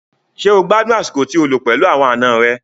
Ṣé o gbádùn àsìkò tí o lò pẹ̀lú àwọn àna rẹ?